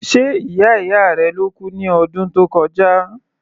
Ṣe ìyá ìyá rẹ ló kú ní ọdún tó kọjá?